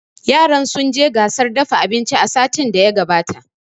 Yaran sun je gasar dafa abinci satin da ya gabata